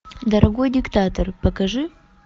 дорогой диктатор покажи